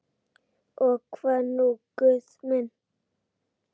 Og hvað nú Guð minn?